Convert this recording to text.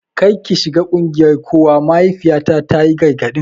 Kar ki shiga ƙungiyar kokawa, mahaifiyata ta yi gargadin.